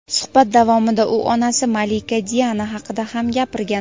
Suhbat davomida u onasi malika Diana haqida ham gapirgan.